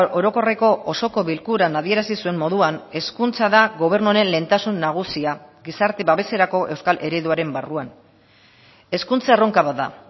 orokorreko osoko bilkuran adierazi zuen moduan hezkuntza da gobernu honen lehentasun nagusia gizarte babeserako euskal ereduaren barruan hezkuntza erronka bat da